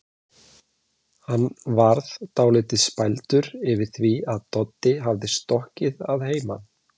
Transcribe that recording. Hann varð dálítið spældur yfir því að Doddi hafði stokkið að heiman.